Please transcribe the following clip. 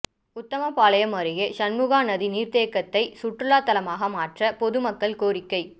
உத்தமபாளையம் அருகே சண்முகாநதி நீா் தேக்கத்தை சுற்றுலாத்தளமாக மாற்ற பொது மக்கள் கோரிக்கை